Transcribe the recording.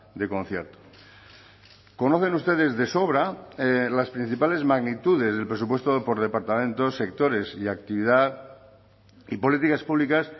de concierto conocen ustedes de sobra las principales magnitudes del presupuesto por departamentos sectores y actividad y políticas públicas